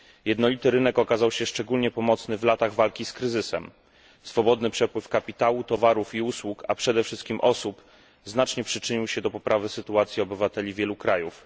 Jednolity rynek okazał się szczególnie pomocny w latach walki z kryzysem. Swobodny przepływ kapitału, towarów i usług, a przede wszystkim osób, znacznie przyczynił się do poprawy sytuacji obywateli wielu krajów.